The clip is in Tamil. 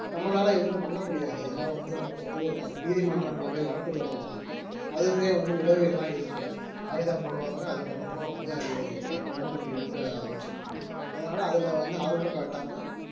நம்மளால எதுவும் பண்ண முடியாது ஏன்னா வந்து நம்ம வந்து நீதிமன்றங்கள்ல போயி வழக்கு தொடரலாம் அதுவுமே வந்து நிலுவையிலதான் இருக்கும் வாய்தா போடுவாங்க அதுக்கப்புறமா வந்து அது பத்து வருடங்களுக்கு இழுக்க ஆரம்பிச்சிடும் அதனால அதுல வந்து ஆர்வமும் காட்டாம